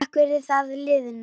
Takk fyrir það liðna.